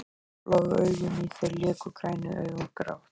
Bláu augun í þér léku grænu augun grátt.